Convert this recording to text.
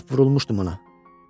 Lap vurulmuşdum ona.